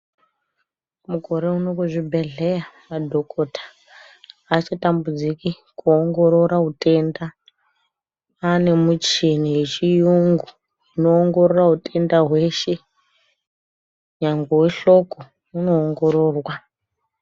Mukore unowu kuzvibhedhlera madhokodheya achatambudziki kuongorora utenda kwane michini inoongorora hutenda hweshe nyangwe wehloko unoongororwa.